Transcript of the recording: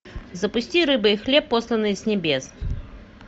запусти рыба и хлеб посланные с небес